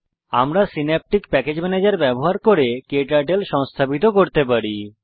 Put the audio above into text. আমরা synaptic package ম্যানেজের ব্যবহার করে ক্টার্টল সংস্থাপন করতে পারি